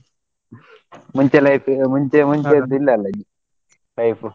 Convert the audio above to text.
ಮುಂಚೆ ಎಲ್ಲ ಇತ್ತೀಗ ಈಗ ಮುಂಚೆ ಮುಂಚೆಯದ್ ಇಲ್ಲ ಅಲ್ಲ type .